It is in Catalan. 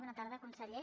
bona tarda conseller